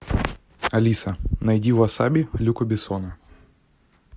алиса найди васаби люка бессона